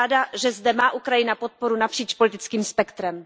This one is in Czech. Jsem ráda, že zde má Ukrajina podporu napříč politickým spektrem.